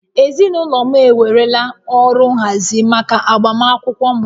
Ezinaụlọ m ewerela ọrụ nhazi maka agbamakwụkwọ m